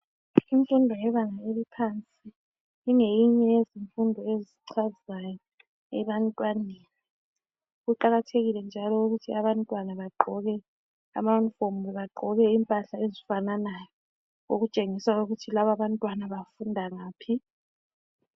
Imfundo yebanga eliphansi ingeyinye yezimfundo ezichazayo ebantwaneni. Kuqakathekile njalo ukuthi abantwana bagqoke amayunifomu kumbe bagqoke impahla ezifananayo okutshengisa ukuthi laba abantwana bafunda ngaphi.